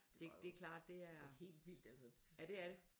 Det var jo helt vildt altså